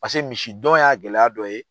Pase misi dɔn y'a gɛlɛya dɔ ye